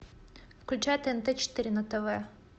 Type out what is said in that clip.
включай тнт четыре на тв